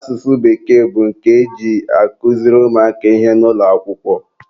asụsụ bekee bụ nke e ji akụziri ụmụaka ihe n'ụlọakwụkwọ